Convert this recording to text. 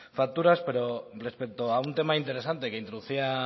facturas pero respecto a un tema interesante que introducía